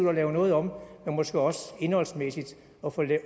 at lave noget om men måske også indholdsmæssigt og få